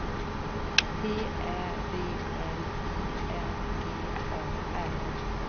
T Ä V L I N G A R